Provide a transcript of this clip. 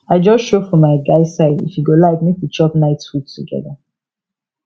i just show for my guy side if e go like make we chop night food together